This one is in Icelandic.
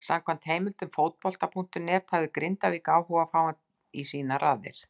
Samkvæmt heimildum Fótbolta.net hafði Grindavík áhuga á að fá hann í sínar raðir.